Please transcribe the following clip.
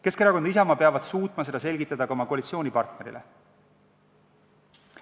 Keskerakond ja Isamaa peavad suutma seda selgitada ka oma koalitsioonipartnerile.